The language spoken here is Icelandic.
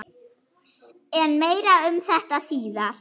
En meira um þetta síðar.